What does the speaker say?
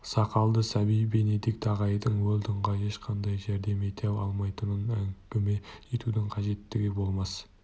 сақалды сәби бенедикт ағайдың уэлдонға ешқандай жәрдем ете алмайтынын әңгіме етудің қажеттігі болмас